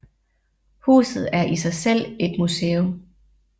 Huset er i sig selv et museum